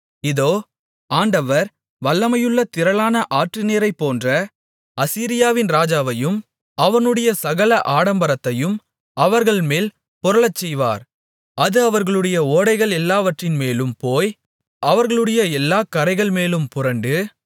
இதோ ஆண்டவர் வல்லமையுள்ள திரளான ஆற்றுநீரைப்போன்ற அசீரியாவின் ராஜாவையும் அவனுடைய சகல ஆடம்பரத்தையும் அவர்கள்மேல் புரளச்செய்வார் அது அவர்களுடைய ஓடைகளெல்லாவற்றின்மேலும் போய் அவர்களுடைய எல்லாக் கரைகள்மேலும் புரண்டு